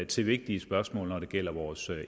til vigtige spørgsmål når det gælder vores